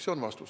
See on vastus.